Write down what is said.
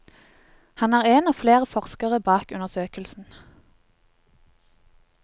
Han er en av flere forskere bak undersøkelsen.